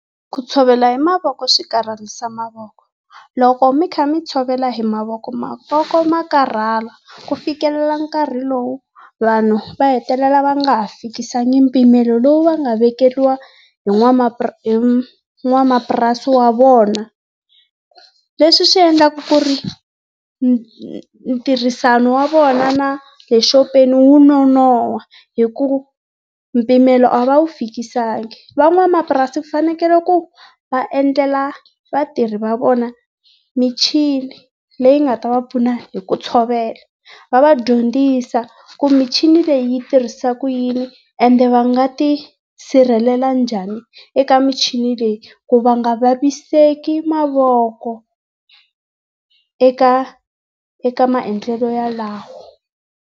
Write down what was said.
Ku tshovela hi mavoko swi karhalisa mavoko. Loko mi kha mi tshovela hi mavoko, mavoko ma karhala. Ku fikelela nkarhi lowu vanhu va hetelela va nga ha fikisanga mpimelo lowu va nga vekeriwa hi hi n'wamapurasi wa vona. Leswi swi endlaka ku ri ntirhisano wa vona na le xopeni wu nonohwa hi ku mpimelo a va wu fikisanga. Van'wamapurasi fanekele ku va endlela vatirhi va vona michini leyi nga ta va pfuna hi ku tshovela. Va va dyondzisa ku michini leyi yi tirhisa ku yini, ende va nga ti sirhelela njhani eka michini leyi ku va nga vaviseki mavoko eka eka maendlelo yalawo.